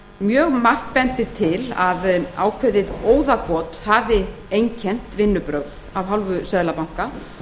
mjög margt bendir til að ákveðið óðagot hafi einkennt vinnubrögð af hálfu seðlabanka